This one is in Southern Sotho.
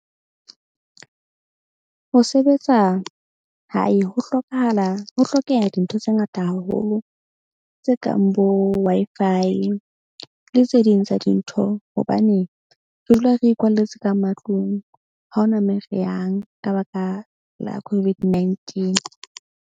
Ho sebetsa hae ho hlokahala ho hlokeha dintho tse ngata haholo, tse kang bo Wi-Fi le tse ding tsa dintho. Hobane re dula re ikwalletse ka matlung ha hona moo re yang ka baka la COVID-19.